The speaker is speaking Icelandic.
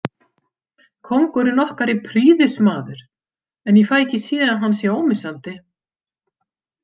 Kóngurinn okkar er prýðismaður en ég fæ ekki séð að hann sé ómissandi.